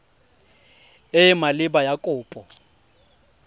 e e maleba ya kopo